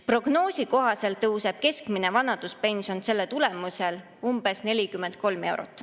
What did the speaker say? Prognoosi kohaselt tõuseb keskmine vanaduspension selle tulemusel umbes 43 eurot.